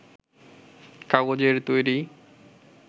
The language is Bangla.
কাগজের তৈরি